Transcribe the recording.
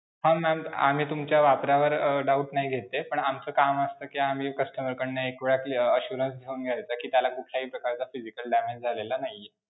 हां ma'am आम्ही तुमच्या वापरावर doubt नाही घेत आहे पण आमचं काम असत कि आम्ही customer कडनं एक वेळ अं assurance घेउन घेण्याचं कि त्याला कुठल्याही प्रकारचा physical damage झालेला नाही आहे.